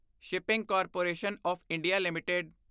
shipping corporation of India LTD